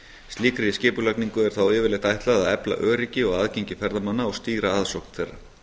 slíkri skipulagningu er þá yfirleitt ætlað að efla öryggi og aðgengi ferðamanna og stýra aðsókn þeirra